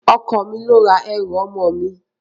Ọkọ mi ló ra ẹrù ọmọ mi